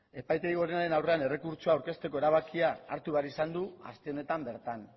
epaitegi gorenaren aurrean errekurtsoa aurkezteko erabakia hartu behar izan du aste honetan bertan